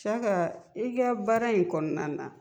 Saka i ka baara in kɔnɔna na